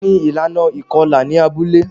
Tani ilana ikọla ni abule?